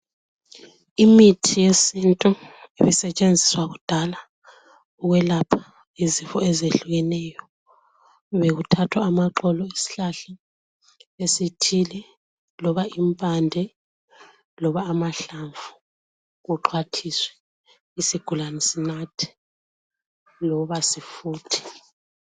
Imithi yesintu ebisetshenziswa kudala ukwelapha izifo ezehlukeneyo bekuthathwa amaxolo esihlahla esithile loba impande loba amahlamvu kuxhwathiswe isigulane sinathe loba sifuthe.